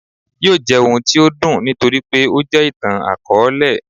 yóò jẹ ohún tí o dùn nítorí pé o jẹ ìtán-akọọlẹ.